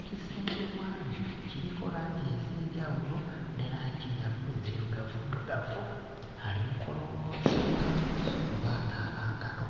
Ekisenge mw'ali kiriko langi ez'enjawulo ne langi eya bbu nzirugavuddugavu. Ali mu kulongoosa ngalo oba anaaba ngalo.